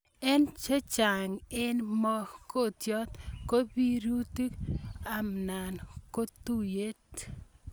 Eng' chechang' eng' mogotiet ko piriritu ana kotuit